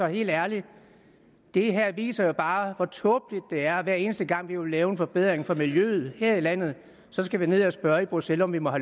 helt ærligt det her viser bare hvor tåbeligt det er når vi hver eneste gang vi vil lave en forbedring for miljøet her i landet skal ned at spørge i bruxelles om vi må